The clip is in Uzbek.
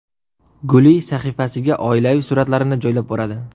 Guli sahifasiga oilaviy suratlarini joylab boradi.